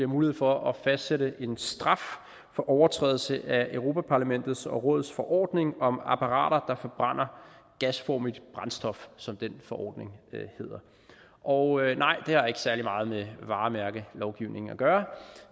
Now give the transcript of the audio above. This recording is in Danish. mulighed for at fastsætte en straf for overtrædelse af europa parlamentets og rådets forordning om apparater der forbrænder gasformigt brændstof som den forordning hedder og nej det har ikke særlig meget med varemærkelovgivningen at gøre